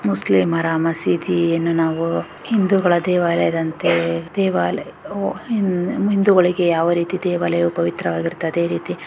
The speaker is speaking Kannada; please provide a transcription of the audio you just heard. ಮುಸ್ಲಿಮರ ಮಸೀದಿಯನ್ನು ನಾವು ಹಿಂದೂಗಳ ದೇವಾಲಯದಂತೆ ದೇವಾಲ್ ಹಿಂ ಹಿಂದುಗಳಿಗೆ ಯಾವ ರೀತಿ ದೇವಾಲಯ ಪವಿತ್ರವಾಗಿರುತ್ತದೆ ಅದೇ ರೀತಿ --